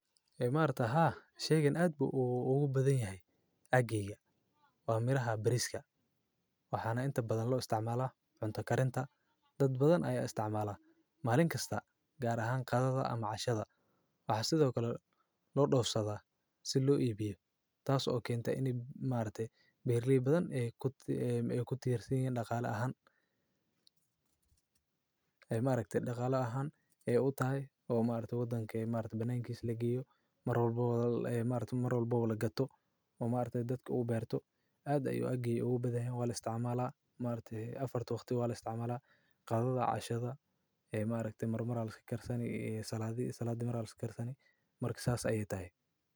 Camarata ha shaygan aad buu ugu badan yahay. Ageega waa miraha bariska waxaana inta badan loo isticmaala cunto karinta. Dad badan ay isticmaala maalin kasta gaar ahaan qaadada ama cashada. Waxaa sidoo kale loo dhoofsada si loo iibiyo taas oo keenta in imaatita birlibadan ee ku tiirinaya dhaqaale ahaan. Imaa ragtay dhaqaale ahaan ee u tahay oo imaa ragta waddanka imaa ragta banayn kii laga giyo mar walboow la imaa ragta mar walboow la gato. Imaa ragta dadka uu beerto. Aad ayuu agiiga ugu badan waa la isticmaalaa imaa ragta afarta waqti waa la isticmaalaa, qaadada, cashada ee imaa ragta mar marmal ka karsan saloosha salo mar karsan marki saas ah ayay tahay.